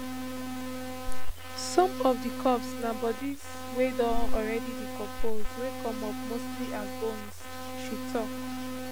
some of [di corpses] na bodies wey don already decompose wey come up mostly as bones she tok